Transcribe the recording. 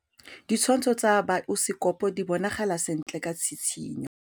Ditshwantshô tsa biosekopo di bonagala sentle ka tshitshinyô.